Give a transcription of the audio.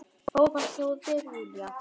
Frábært hjá þér, Júlía!